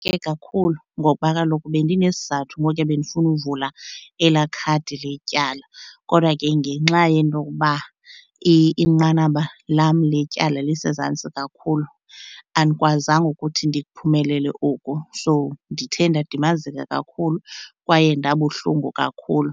kakhulu ngokuba kaloku bendinesizathu ngokuya bendifuna uvula elaa khadi letyala, kodwa ke ngenxa yento okuba inqanaba lam letyala lisezantsi kakhulu andikwazanga ukuthi ndiphumelele oku. So ndithe ndadimazeka kakhulu kwaye ndabuhlungu kakhulu.